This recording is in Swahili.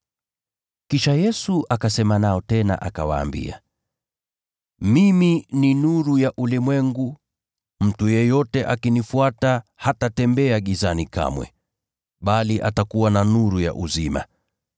Kisha Yesu akasema nao tena akawaambia, “Mimi ni nuru ya ulimwengu. Mtu yeyote akinifuata hatatembea gizani kamwe, bali atakuwa na nuru ya uzima.”